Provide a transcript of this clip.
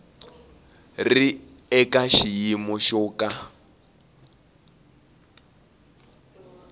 ri eka xiyimo xo ka